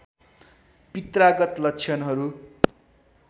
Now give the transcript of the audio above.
पित्रागत लक्षणहरू